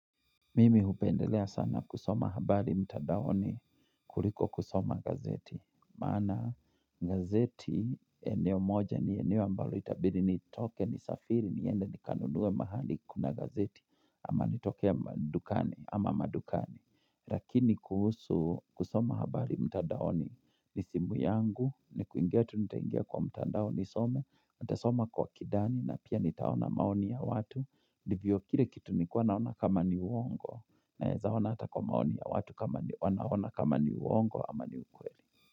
Mimi hupendelea sana kusoma habari mtadaoni kuriko kusoma gazeti. Maana gazeti eneo moja ni eneo ambalo itabidi nitoke ni safiri niende nikanunue mahali kuna gazeti ama nitoke madukani ama madukani. Lakini kuhusu kusoma habari mtadaoni ni simu yangu ni kuingia tu nitaingia kwa mtandao nisome. Nitasoma kwa kidani na pia nitaona maoni ya watu ndivyo kile kitu nilikua naona kama ni uongo naeza ona ata kwa maoni ya watu kama wanaona kama ni uongo ama ni ukweli.